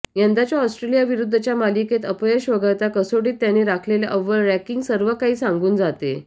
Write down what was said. यंदाच्या ऑस्ट्रेलियाविरुद्धच्या मालिकेतील अपयश वगळता कसोटीत त्यांनी राखलेले अव्वल रॅँकिंग सर्व काही सांगून जाते